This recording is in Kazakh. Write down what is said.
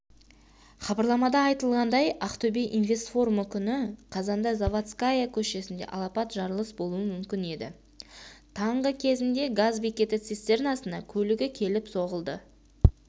хабарламада айтылғандай ақтөбе инвестфорумы күні қазанда заводская көшесінде алапат жарылыс болуы мүмкін еді таңғы кезінде газ бекеті цистернасына көлігі келіп соғылды